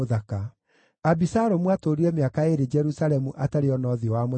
Abisalomu aatũũrire mĩaka ĩĩrĩ Jerusalemu atarĩ oona ũthiũ wa mũthamaki.